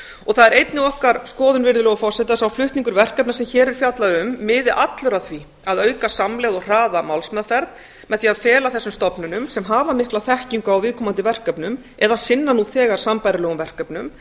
það er einnig okkar skoðun að sá flutningur verkefna sem hér er fjallað um miði allur að því að auka samlegð og hraða málsmeðferð með því að fela þessum stofnunum sem hafa mikla þekkingu á viðkomandi verkefnum eða sinna nú þegar sambærilegum verkefnum